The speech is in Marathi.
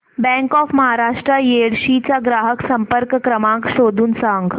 बँक ऑफ महाराष्ट्र येडशी चा ग्राहक संपर्क क्रमांक शोधून सांग